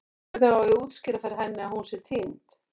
Hvernig á ég að útskýra fyrir henni að hún sé týnd?